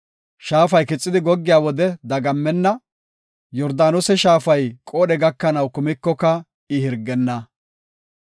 Shaafay kixidi goggey wode dagammenna; Yordaanose shaafay qoodhe gakanaw kumikoka I hirgenna.